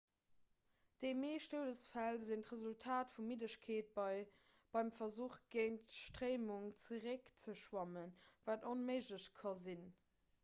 déi meescht doudesfäll sinn d'resultat vu middegkeet beim versuch géint d'stréimung zeréckzeschwammen wat onméiglech ka sinn